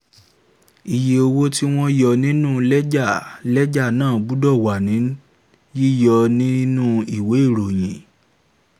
iye owó tí wọ́n yọ nínú lẹ́jà lẹ́jà náà gbọ́dọ̀ wà ní yíyọ nínú ìwé ìròyìn.